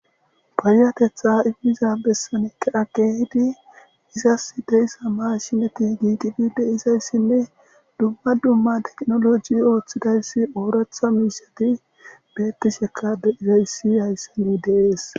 Payatetha ifiza bessanikka agge hidi izas deyssa maashineti giitipide izayssinne dumma dumma teqnoloji ooththidayssi ooratha miiseti bettishekade izayssi hayssani deees.